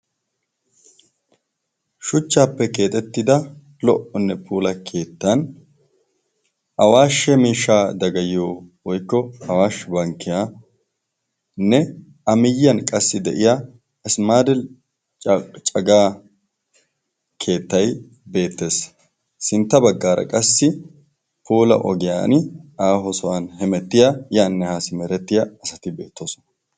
shuchchaappe keexettida lo77onne puula keettan awaashshe miishshaa dagayyo woykko awaashshe bankkiyaanne a miyyiyan qassi de7iya asimaadel cagaa keettay beettees. sintta baggaara qassi puula ogiyan aaho sohuwan hemettiya yaanne haa simerettiya asati beettoosona.